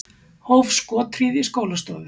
Hóf skothríð í skólastofu